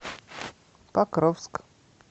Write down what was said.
покровск